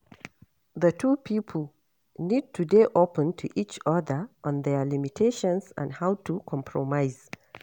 The two pipo need to dey open to each oda on their limitations and how to compromise